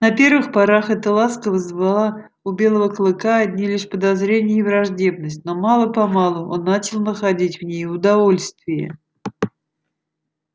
на первых порах эта ласка вызывала у белого клыка одни лишь подозрения и враждебность но мало помалу он начал находить в ней удовольствие